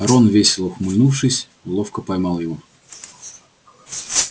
рон весело ухмыльнувшись ловко поймал его